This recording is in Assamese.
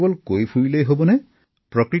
কিন্তু কোনেও ইয়াৰ সমাধানৰ কথা আলোচনা নকৰে